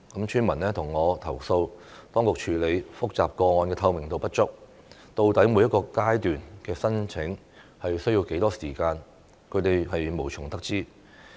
村民向我投訴，當局處理複雜個案的透明度不足，究竟每一個階段的申請需要多少時間，他們無從得知。